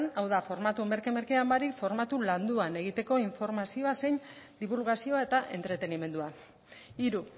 hau da formatu merke merkean baino formatu landuan egiteko informazioa zein dibulgazioa eta entretenimendua hiru